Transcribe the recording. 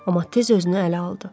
Amma tez özünü ələ aldı.